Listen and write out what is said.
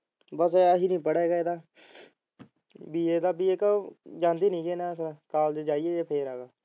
ਬਸ ਐਦਕੀ ਨਹੀਂ ਪੜ੍ਹੇ ਹੈ ਕੱਲ ਜਾਇਏ ਤਾ ਫੇਰ ਆਈਏ।